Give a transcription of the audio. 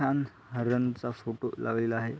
छान हारांचा फोटो लावलेला आहे.